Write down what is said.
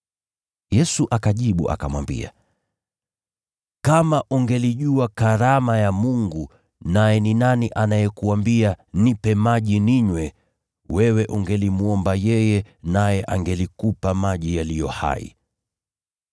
Yesu akajibu akamwambia, “Kama ungelijua karama ya Mungu, naye ni nani anayekuambia, Nipe maji ninywe, wewe ungelimwomba yeye, naye angelikupa maji yaliyo hai.”